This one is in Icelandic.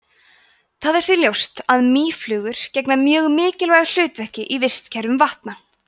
það er því ljóst að mýflugur gegna mjög mikilvægu hlutverki í vistkerfum vatna